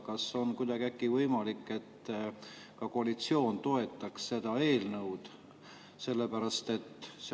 Kas on võimalik, et ka koalitsioon toetaks seda eelnõu?